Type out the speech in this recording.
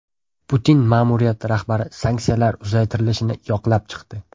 Putin ma’muriyati rahbari sanksiyalar uzaytirilishini yoqlab chiqdi.